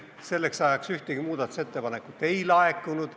Selleks ajaks ühtegi muudatusettepanekut ei laekunud.